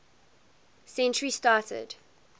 century started